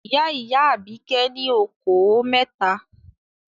Ìyá-ìyá Àbíkẹ́ ní okòó mẹ́ta.